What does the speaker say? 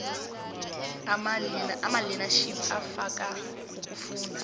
amalearnership afaka ukufunda